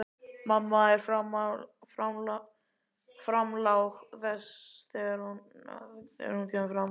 Mamma er framlág þegar hún kemur fram.